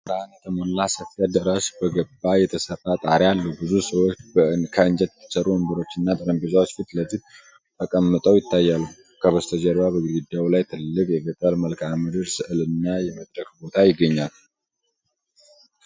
በጥሩ ብርሃን የተሞላ ሰፊ አዳራሽ በገለባ የተሰራ ጣሪያ አለው። ብዙ ሰዎች ከእንጨት በተሠሩ ወንበሮችና ጠረጴዛዎች ፊት ለፊት ተቀምጠው ይታያሉ። ከበስተጀርባ በግድግዳው ላይ ትልቅ የገጠር መልክዓ ምድር ሥዕል እና የመድረክ ቦታ ይገኛል።